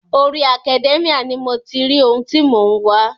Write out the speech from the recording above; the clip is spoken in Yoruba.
Orí Academia ni mo ti ri ohun ti mò ń wá.